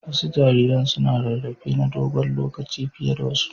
Wasu jariran suna rarrafe na dogon lokaci fiye da wasu.